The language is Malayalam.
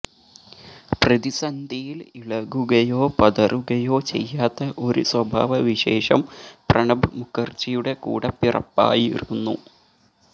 പ്രതിസന്ധിയിൽ ഇളകുകയോ പതറുകയോ ചെയ്യാത്ത ഒരു സ്വഭാവവിശേഷം പ്രണബ് മുഖർജിയുടെ കൂടപ്പിറപ്പായിരുന്നു